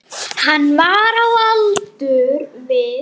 Hann var á aldur við